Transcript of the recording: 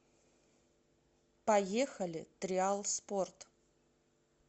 поехали триал спорт